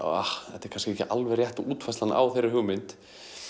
þetta er kannski ekki alveg rétta útfærslan á þeirri hugmynd